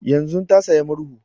Yanzun ta saya murhu